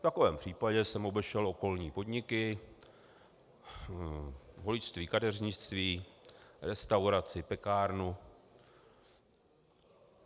V takovém případě jsem obešel okolní podniky, holičství, kadeřnictví, restauraci, pekárny.